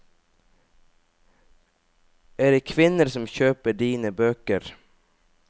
Er det kvinner som kjøper dine bøker?